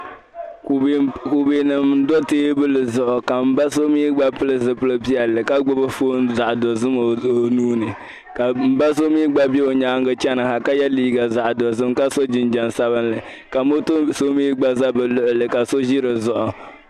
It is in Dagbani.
Kubɛ n do teebuli zuɣu ka n ba so mii gba pili zipili piɛlli ka gbubi foon zaɣ dozim o nuuni ka n ba so mii gba bɛ o nyaangi chɛni ha ka yɛ liiga zaɣ dozim ka so jinjɛm sabinli ka moto so mii gba ʒɛ bi luɣuli ka so ʒi dizuɣu